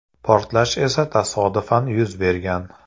Portlash esa tasodifan yuz bergan.